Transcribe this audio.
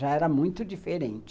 Já era muito diferente.